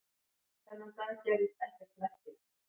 Þennan dag gerðist ekkert merkilegt.